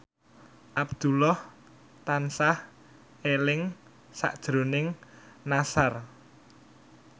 Abdullah tansah eling sakjroning Nassar